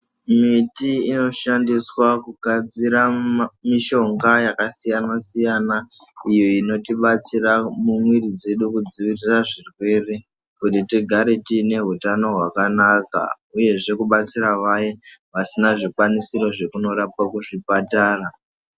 Miti inoshandiswa kugadzira mishonga yakasiyana-siyana iyo inotibatsira mumwiiri dzedu kudzivirira kuzvirwere kuti tigare tiine hutano hwakanaka, uyezve kubatsira vaya vasina zvikwanisiro zvekunorapwa kuzvipatara.